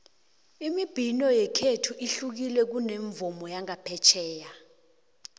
imibhino yekhethu ihlukile kunomvumo wangaphetjheya